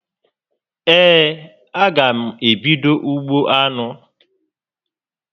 Ee, a gá m ebido ugbo anụ